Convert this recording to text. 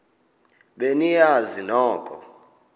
be niyazi nonk